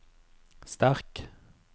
sterk